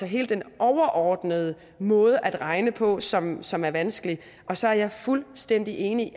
hele den overordnede måde at regne på som som er vanskelig så er jeg fuldstændig enig i